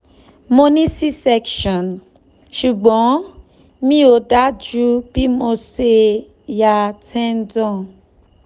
mo ní c section ṣùgbọ́n mi ò dájú bí mo ṣe ya tendon